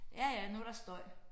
Ja ja nu der støj